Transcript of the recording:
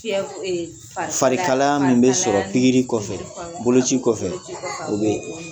Fari kalaya min bɛ sɔrɔ kɔfɛ , boloci kɔfɛ o be